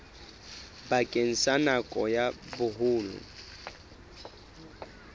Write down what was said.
bakeng sa nako ya boholo